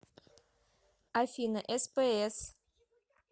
афина спс